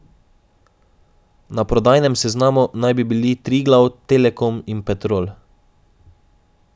Na prodajnem seznamu naj bi bili Triglav, Telekom in Petrol.